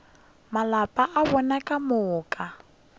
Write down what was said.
malapa a bona ka moka